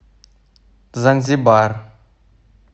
занзибар